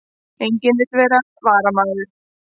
Enginn vill vera varamaður